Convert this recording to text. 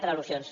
per al·lusions